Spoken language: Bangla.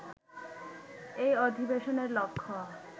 এই অধিবেশনের লক্ষ্য